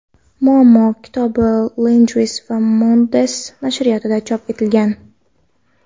Muammo” kitobi Langues & Mondes nashriyotida chop etilgan.